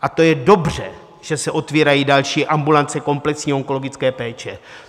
A to je dobře, že se otvírají další ambulance komplexní onkologické péče.